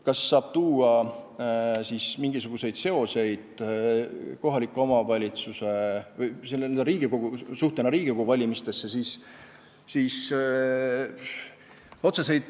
Kas saab välja tuua mingisuguseid seoseid Riigikogu valimistega?